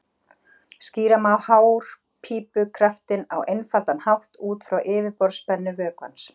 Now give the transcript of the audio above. Skýra má hárpípukraftinn á einfaldan hátt út frá yfirborðsspennu vökvans.